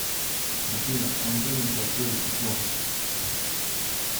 афина антоним простое число